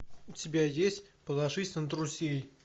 у тебя есть положись на друзей